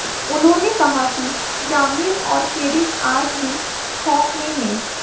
उन्होंने कहा कि ग्रामीण और पीड़ित आज भी खौफ में हैं